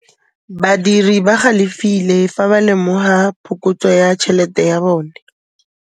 Badiri ba galefile fa ba lemoga phokotsô ya tšhelête ya bone.